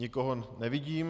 Nikoho nevidím.